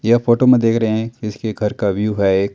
यह फोटो में देख रहे हैं इसके घर का व्यू है।